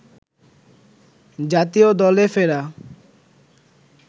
জাতীয় দলে ফেরা